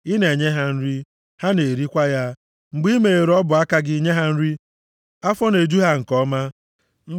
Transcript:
Ị na-enye ha nri; ha na-erikwa ya. Mgbe i meghere ọbụ aka gị nye ha nri, afọ na-eju ha nke ọma.